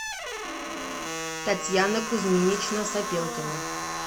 татьяна кузьминична сапелкина